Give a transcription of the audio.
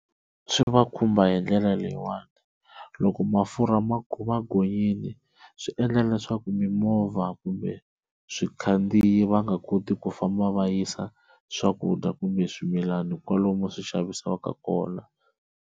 Swi va khumba hi ndlela leyiwani loko mafurha ma gonyile swi endla leswaku mimovha kumbe swikhandziyi va nga koti ku famba va yisa swakudya kumbe swimilana kwalomu swi xavisiwaka kona.